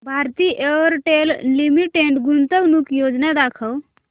Bharti Airtel limited गुंतवणूक योजना दाखव